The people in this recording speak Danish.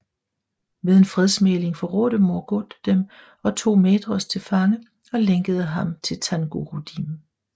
Ved en fredsmægling forrådte Morgoth dem og tog Maedhros til fange og lænkede ham på Thangorodrim